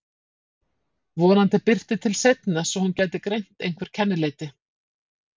Vonandi birti til seinna svo hún gæti greint einhver kennileiti.